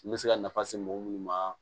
N bɛ se ka nafa se mɔgɔ minnu ma